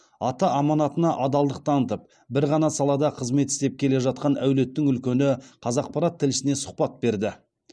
ата аманатына адалдық танытып бір ғана салада қызмет істеп келе жатқан әулеттің үлкені қазақпарат тілшісіне сұхбат берді